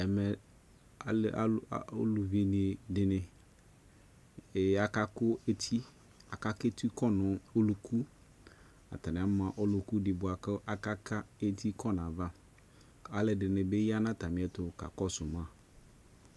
Ɛmɛ alu, a, o uluvi de neEe aka ku eti Aka kɛtu kɔ no ɔlukuAtane ama ɔluku de boako aka ka eti kɔ navaAlɛde ne be ya na atame ɛyo ka kɔao ma